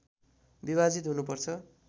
विभाजित हुनुपर्छ